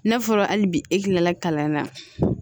N'a fɔra hali bi e kilala kalan na